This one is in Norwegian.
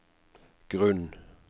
grunn